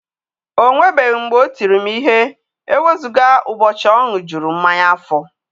O nwebeghị mgbe o tiri m ihe e wezụga ụbọchị ọ ṅụjurụ mmanya afọ.